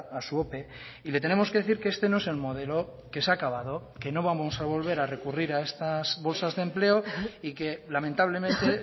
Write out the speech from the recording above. a su ope y le tenemos que decir que este no es el modelo que se ha acabado que no vamos a volver a recurrir a estas bolsas de empleo y que lamentablemente